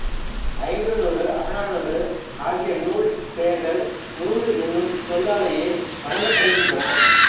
ஐங்குறுநூறு அகநானூறு ஆகிய நூல் பெயர்கள் நூறு என்னும் சொல்லாலேயே வழங்கப்படுகின்றன